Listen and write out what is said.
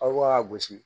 Aw ka gosi